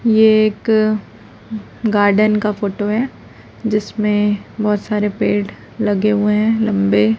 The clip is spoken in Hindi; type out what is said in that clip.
यह एक गार्डन का फोटो है जिसमें बहोत सारे पेड़ लगे हुए हैं लंबे।